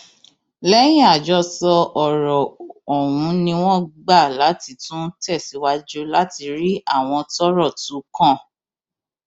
lẹyìn àjọsọ ọrọ ọhún ni wọn gbà láti láti tún tẹsíwájú láti rí àwọn tọrọ tún kàn